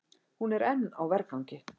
Hún er enn á vergangi.